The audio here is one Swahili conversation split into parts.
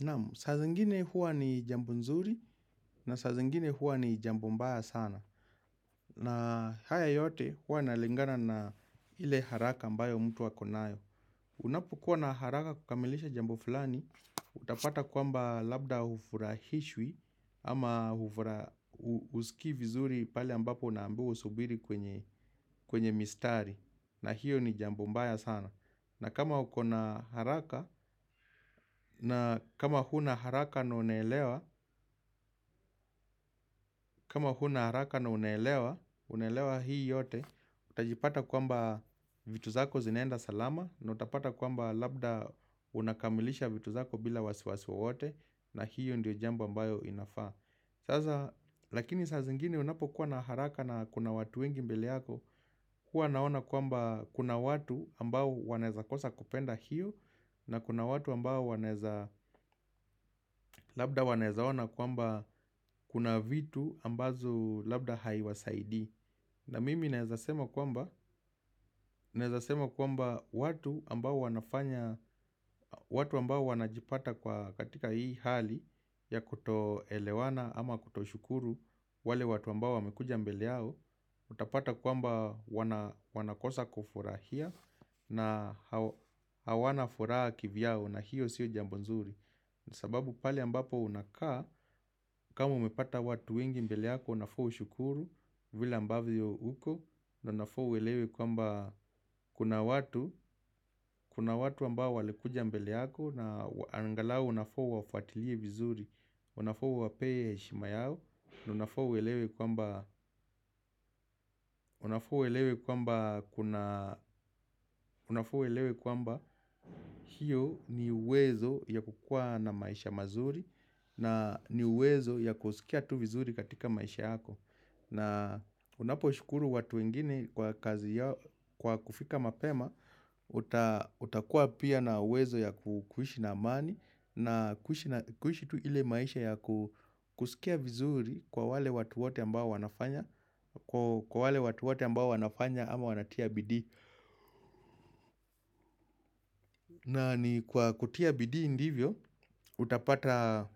Namu, saa zingine huwa ni jambo nzuri na saa zingine huwa ni jambo mbaya sana. Na haya yote huwa inalingana na ile haraka ambayo mtu ako nayo. Unapokuwa na haraka kukamilisha jambo fulani, utapata kwamba labda hufurahishwi ama hufura huskii vizuri pale ambapo unaambiwa usubiri kwenye mistari. Na hiyo ni jambu mbaya sana. Na kama uko na haraka na kama huna haraka na unaelewa, kama huna haraka na unaelewa, unaelewa hii yote, utajipata kwamba vitu zako zinaenda salama na utapata kwamba labda unakamilisha vitu zako bila wasiwasi wowote na hiyo ndio jambo ambayo inafaa. Sasa, lakini saa zingine unapokuwa na haraka na kuna watu wengi mbele yako, kuwa naona kwamba kuna watu ambao wanaeza kosa kupenda hiyo, na kuna watu ambao wanaeza, labda wanaeza ona kwamba kuna vitu ambazo labda haiwasaidi. Na mimi naeza sema kwamba kwamba watu ambao wanafanya, watu ambao wanajipata kwa katika hii hali ya kutoelewana ama kutoshukuru wale watu ambao wamekuja mbele yao, utapata kwamba wanakosa kufurahia na hawana furaha kivyao na hiyo siyo jambo nzuri. Ni sababu pali ambapo unakaa, kama umepata watu wengi mbele yako, unafaa ushukuru vile ambavyo uko na unafaa uelewe kwamba kuna watu, kuna watu ambao walikuja mbele yako na angalau unafaa uwafuatilie vizuri unafaa uwapee heshima yao, na unafaa uelewe kwamba kuna hiyo ni wezo ya kukua na maisha mazuri na ni uwezo ya kusikia tu vizuri katika maisha yako na unaposhukuru watu wengine kwa kazi yao kwa kufika mapema utakua pia na uwezo ya kuishi na amani na kuishi tu ile maisha ya kusikia vizuri kwa wale watu wate ambao wanafanya Kwa wale watu wote ambao wanafanya ama wanatia bidii na ni kwa kutia bidii ndivyo, utapata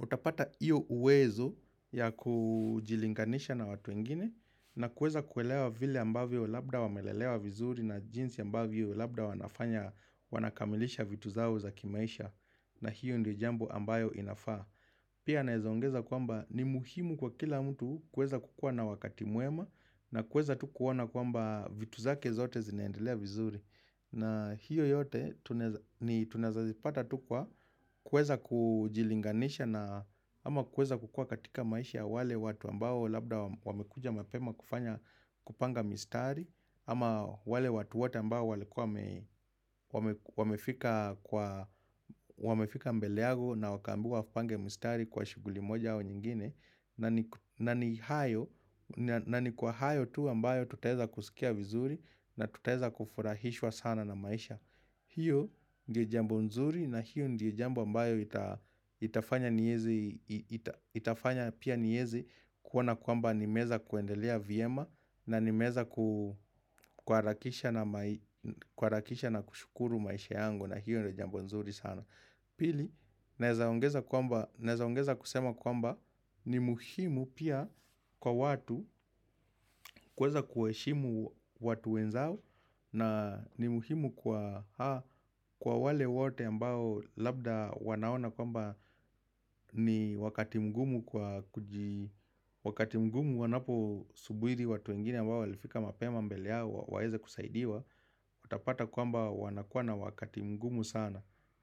utapata iyo uwezo ya kujilinganisha na watu wengine na kueza kuelewa vile ambavyo labda wamelelewa vizuri na jinsi ambavyo labda wanafanya wanakamilisha vitu zao za kimaisha na hiyo ndio jambo ambayo inafaa Pia naeza ongeza kwamba ni muhimu kwa kila mtu kueza kukua na wakati mwema na kueza tu kuona kwamba vitu zake zote zinaendelea vizuri na hiyo yote ni tunaeza zipata tu kwa kuweza kujilinganisha na ama kuweza kukua katika maisha wale watu ambao labda wamekuja mapema kufanya kupanga mistari ama wale watu wote ambao walikuwa wame wamefika mbele yako na wakaambiwa wapange mistari kwa shughuli moja au nyingine na ni na ni kwa hayo tu ambayo tutaeza kusikia vizuri na tutaeza kufurahishwa sana na maisha hiyo ndio jambo nzuri na hiyo ndio jambo ambayo itafanya nieze pia niezi kuona kwamba nimeeza kuendelea vyema na nimeeza kuharakisha na kushukuru maisha yangu na hiyo ndio jambo nzuri sana Pili, naeza ongeza kwamba naeza ongeza kusema kwamba ni muhimu pia kwa watu kuweza kuheshimu watu wenzao na ni muhimu kwa kwa wale wote ambao labda wanaona kwamba ni wakati mgumu kwa kuji Wakati mgumu wanapo subiri watu wengine ambao walifika mapema mbele yao waweza kusaidiwa Utapata kwamba wanakuwa na wakati mgumu sana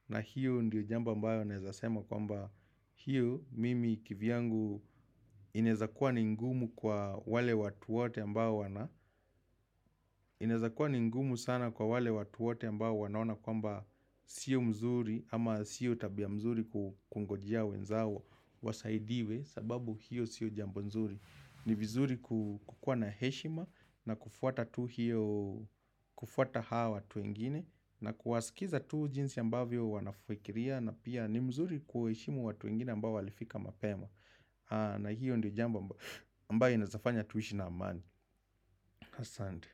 na hiyo ndiyo jambo ambayo naeza sema kwamba hiyo mimi kivyangu inezakuwa ni mgumu kwa wale watu wote ambao wana Inaezakuwa ni mgumu sana kwa wale watu wote ambao wanaona kwamba Sio mzuri ama sio tabia mzuri kungojea wenzao Wasaidiwe sababu hiyo sio jambo nzuri ni vizuri kukuwa na heshima na kufuata tu hiyo kufuata haa watu wengine na kuwasikiza tu jinsi ambavyo wanafikiria na pia ni mzuri kuheshimu watu wengine ambao walifika mapema na hiyo ndiyo jambo ambayo inaezafanya tuishi na amani Asante.